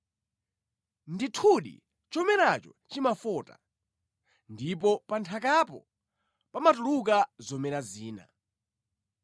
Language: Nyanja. Ndithudi chomeracho chimafota, ndipo pa nthakapo pamatuluka zomera zina.